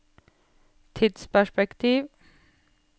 tidsperspektiv